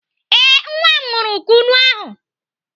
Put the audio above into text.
Ee, nwa m ṅụrụ Kunu ahụ.